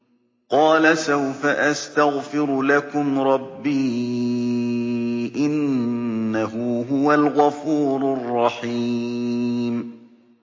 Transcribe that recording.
قَالَ سَوْفَ أَسْتَغْفِرُ لَكُمْ رَبِّي ۖ إِنَّهُ هُوَ الْغَفُورُ الرَّحِيمُ